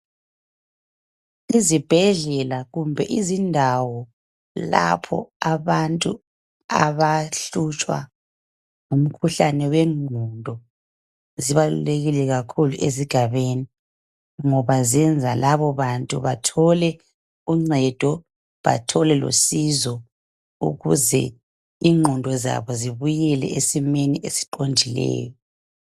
Izibhedlela kumbe izindawo lapha abantu abahlutshwa wegqondo zibalulekile esigabeni ngoba ziyenza labo bantu bathole ungcedo bathole losizo ukuze ingqondo zabo zibuyele esimweni esiqondileyo